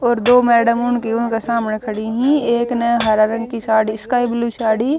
और दो मैडम उनकी उणकह सामणह खड़ी हं एक न हरया रंग की साड़ी स्काई ब्ल्यू स्याड़ी--